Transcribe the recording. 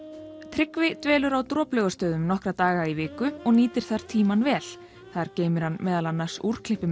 Tryggvi dvelur á Droplaugarstöðum nokkra daga í viku og nýtir þar tímann vel þar geymir hann meðal annars